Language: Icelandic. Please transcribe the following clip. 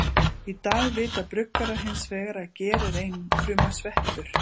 Í dag vita bruggarar hins vegar að ger er einfruma sveppur.